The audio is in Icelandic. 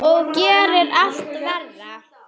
Og gerir illt verra.